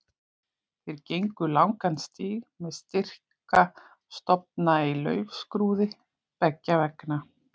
Þeir gengu langan stíg með styrka stofna í laufskrúði beggja vegna.